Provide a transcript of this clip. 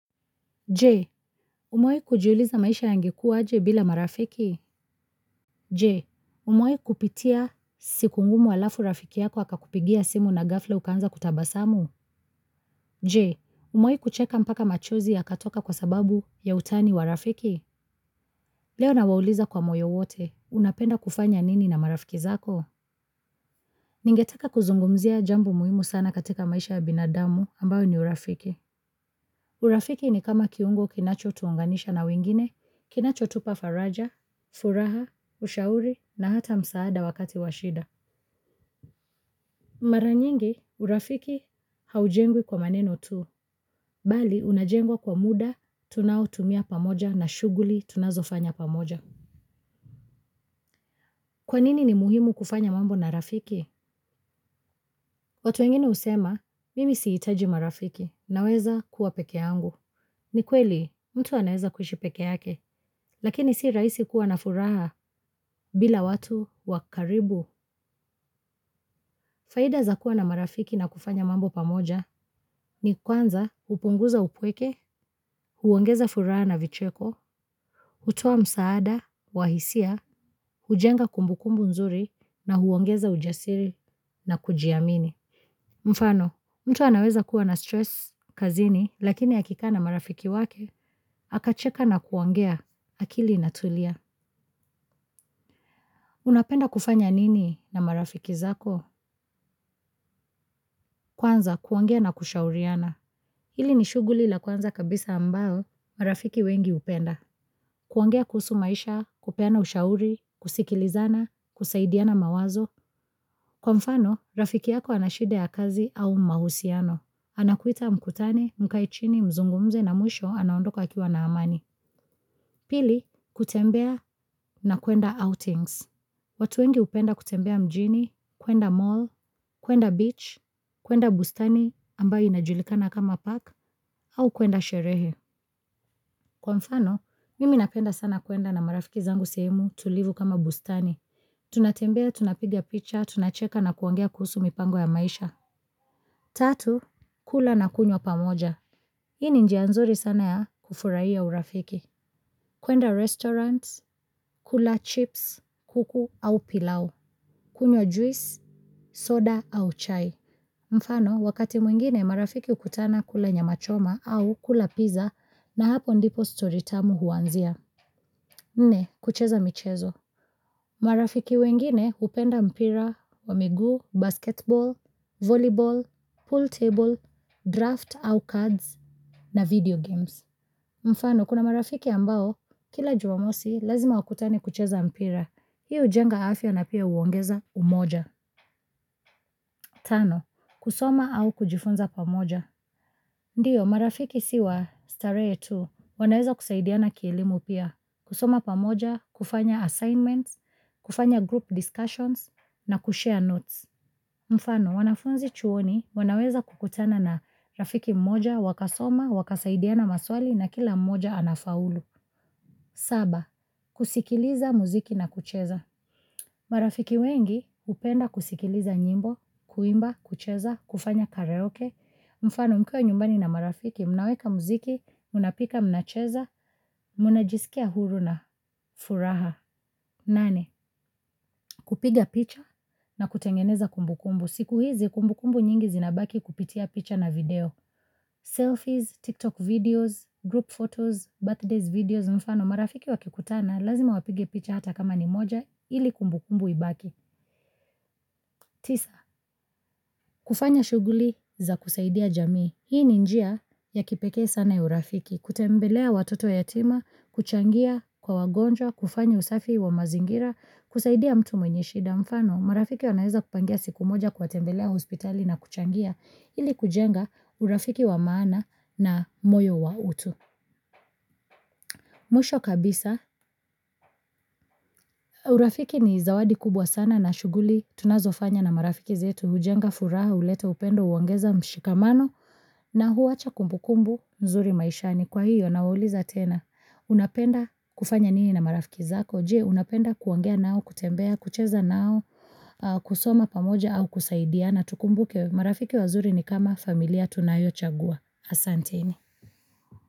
Je, umewahi kujiuliza maisha yangekuwa aje bila marafiki? Je, umewahi kupitia siku ngumu alafu rafiki yako akakupigia simu na gafla ukaanza kutabasamu? Je, umewahi kucheka mpaka machozi ya katoka kwa sababu ya utani wa rafiki? Leo nawauliza kwa moyo wote unapenda kufanya nini na marafiki zako. Ningetaka kuzungumzia jambo muhimu sana katika maisha ya binadamu ambayo ni urafiki. Urafiki ni kama kiungo kinacho tuunganisha na wengine, kinacho tupa faraja. Furaha, ushauri na hata msaada wakati washida. Maranyingi, urafiki haujengwi kwa maneno tu. Bali, unajengwa kwa muda, tunao tumia pamoja na shughuli tunazo fanya pamoja. Kwanini ni muhimu kufanya mambo na rafiki? Watu wengine husema mimi sihitaji marafiki naweza kuwa pekee yangu. Ni kweli, mtu anaweza kuishi pekee yake, lakini si rahisi kuwa na furaha bila watu wakaribu. Faida za kua na marafiki na kufanya mambo pamoja ni kwanza hupunguza upweke, huongeza furaha na vicheko, hutoa msaada, wahisia, hujenga kumbukumbu nzuri na huongeza ujasiri na kujiamini. Mfano, mtu anaweza kuwa na stress kazini lakini a kikaana marafiki wake, akacheka na kuongea akili ina tulia. Unapenda kufanya nini na marafiki zako? Kwanza kuongea na kushauriana hili ni shughuli la kwanza kabisa ambao, marafiki wengi hupenda. Kuongea kuhusu maisha, kupeana ushauri, kusikilizana, kusaidiana mawazo. Kwa mfano, rafiki yako anashida ya kazi au mahusiano. Anakuita mkutane, mkaechini, mzungumze na mwisho anaondoka a kiwa naamani. Pili, kutembea na kwenda outings. Watu wengi hupenda kutembea mjini, kwenda mall, kwenda beach, kwenda bustani ambayo inajulikana kama park, au kwenda sherehe. Kwa mfano, mimi napenda sana kwenda na marafiki zangu sehemu tulivu kama bustani. Tunatembea tunapiga picha tunacheka na kuongea kuhusu mipango ya maisha. Tatu, kula na kunywa pamoja. Hii ni njianzuri sana ya kufurahia urafiki. Kwenda restaurants, kula chips, kuku au pilau, kunywa juice, soda au chai. Mfano, wakati mwingine marafiki hukutana kula nyamachoma au kula pizza na hapo ndipo story tamu huanzia. Nne, kucheza michezo. Marafiki wengine hupenda mpira wa miguu, basketball, volleyball, pool table, draft au cards na video games. Mfano kuna marafiki ambao kila jumamosi lazima wakutane kucheza mpira. Hii hujenga afya na pia huongeza umoja. Tano, kusoma au kujifunza pamoja. Ndiyo, marafiki siwa, starehe tu, wanaweza kusaidiana kielimu pia, kusoma pamoja, kufanya assignments, kufanya group discussions, na kushare notes. Mfano, wanafunzi chuoni, wanaweza kukutana na rafiki mmoja, wakasoma, wakasaidiana maswali, na kila mmoja anafaulu. Saba, kusikiliza muziki na kucheza. Marafiki wengi, hupenda kusikiliza nyimbo, kuimba, kucheza, kufanya karaoke. Mfano mkiwa nyumbani na marafiki mnaweka muziki mnapika mnacheza mnajiskia huru na furaha. Nane, kupiga picha na kutengeneza kumbu kumbu. Siku hizi, kumbu kumbu nyingi zinabaki kupitia picha na video. Selfies, TikTok videos, group photos, birthdays videos. Mfano marafiki wakikutana, lazima wapige picha hata kama ni moja ili kumbu kumbu ibaki. Tisa, kufanya shughuli za kusaidia jamii. Hii ni njia ya kipekee sana ya urafiki. Kutembelea watoto yatima kuchangia kwa wagonjwa kufanya usafi wa mazingira husaidia mtu mwenye shida. Mfano, marafiki wanaweza kupangia siku moja kuwa tembelea hospitali na kuchangia ili kujenga urafiki wa maana na moyo wa utu. Mwisho kabisa, urafiki ni zawadi kubwa sana na shughuli tunazofanya na marafiki zetu, hujenga furaha, huleta upendo, huongeza mshikamano na huwacha kumbukumbu nzuri maishani. Kwa hiyo, nawauliza tena. Unapenda kufanya nini na marafiki zako. Je, unapenda kuongea nao, kutembea, kucheza nao, kusoma pamoja au kusaidia na tukumbuke. Marafiki wazuri ni kama familia tunayo chagua. Asante ni.